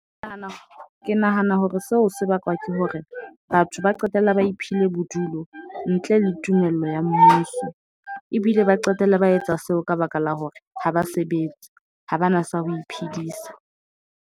Ke nahana, ke nahana hore seo se bakwa ke hore batho ba qetella ba iphile bodulo ntle le tumello ya mmuso. Ebile ba qetella ba etsa seo ka baka la hore ha ba sebetse, ha bana sa ho iphedisa.